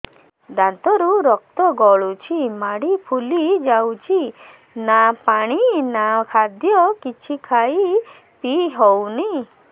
ଦାନ୍ତ ରୁ ରକ୍ତ ଗଳୁଛି ମାଢି ଫୁଲି ଯାଉଛି ନା ପାଣି ନା ଖାଦ୍ୟ କିଛି ଖାଇ ପିଇ ହେଉନି